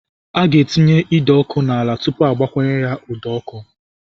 A ga-etinye ide ọkụ n'ala tupu a gbakwunyere ya ụdọ ọkụ.